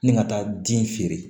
Ni ka taa den feere